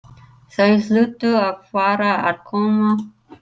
Þau hlutu að fara að koma.